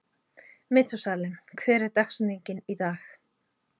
Methúsalem, hver er dagsetningin í dag?